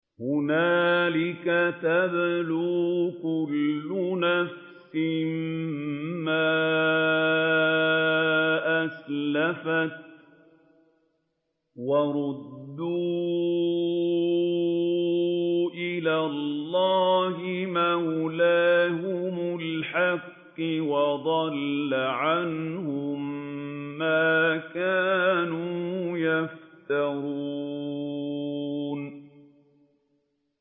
هُنَالِكَ تَبْلُو كُلُّ نَفْسٍ مَّا أَسْلَفَتْ ۚ وَرُدُّوا إِلَى اللَّهِ مَوْلَاهُمُ الْحَقِّ ۖ وَضَلَّ عَنْهُم مَّا كَانُوا يَفْتَرُونَ